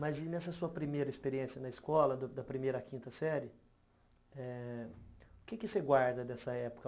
Mas e nessa sua primeira experiência na escola, da primeira à quinta série, eh o que você guarda dessa época?